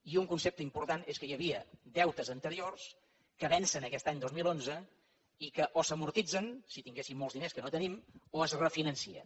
i un concepte important és que hi havia deutes anteriors que vencen aquest any dos mil onze i que o s’amortitzen si tinguéssim molts diners que no els tenim o es refinancen